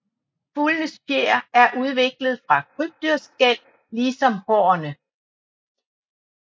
Fuglenes fjer er udviklet fra krybdyrskæl lige som hårene